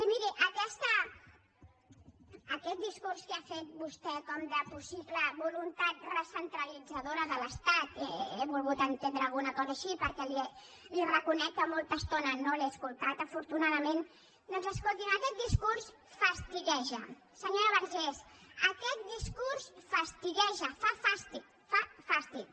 i miri aquest discurs que ha fet vostè com de possible voluntat recentralitzadora de l’estat he volgut entendre alguna cosa així perquè li reconec que molta estona no l’he escoltat afortunadament doncs escolti’m aquest discurs fastigueja senyora vergés aquest discurs fastigueja fa fàstic fa fàstic